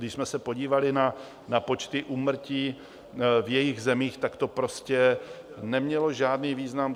Když jsme se podívali na počty úmrtí v jejich zemích, tak to prostě nemělo žádný význam.